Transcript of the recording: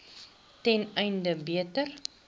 ten einde beter